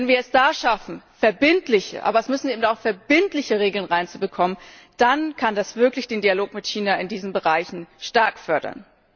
Wenn wir es da schaffen, verbindliche aber es müssen eben auch verbindliche sein Regeln hineinzubekommen, dann kann das wirklich den Dialog mit China in diesen Bereichen stark fördern.